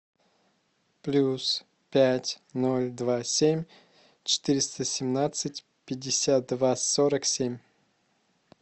плюс пять ноль два семь четыреста семнадцать пятьдесят два сорок семь